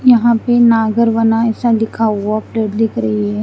यहा पे नागर बना ऐसा लिखा हुआ प्लेट दिख रही है।